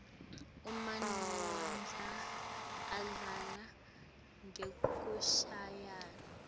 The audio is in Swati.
emanuodza adlala ngekushayaua